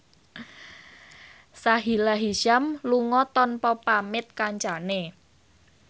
Sahila Hisyam lunga tanpa pamit kancane